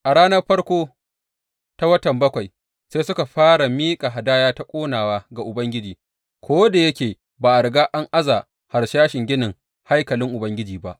A ranar farko ta watan bakwai, sai suka fara miƙa hadaya ta ƙonawa ga Ubangiji, ko da yake ba a riga an aza harsashin ginin haikalin Ubangiji ba.